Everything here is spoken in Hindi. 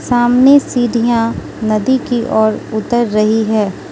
सामने सीढ़ियां नदी की ओर उतर रही है।